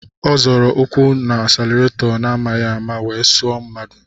Ọ zọrọ ụkwụ n'asilaretọ n'amaghi ama wee suo mmadụ.